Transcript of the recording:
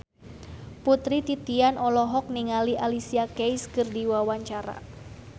Putri Titian olohok ningali Alicia Keys keur diwawancara